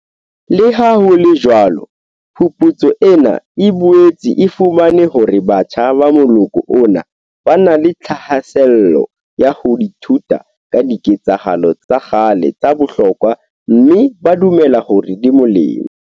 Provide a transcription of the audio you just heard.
Leha ho le jwalo phuputso ena e boetse e fumane hore batjha ba moloko ona ba na le thahasello ya ho ithuta ka diketsahalo tsa kgale tsa bohlokwa mme ba dumela hore di molemo.